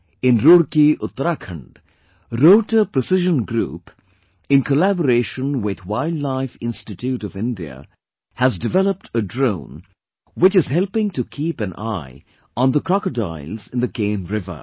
In Roorkee, Uttarakhand, Rotor Precision Group in collaboration with Wildlife Institute of India has developed a drone which is helping to keep an eye on the crocodiles in the Ken River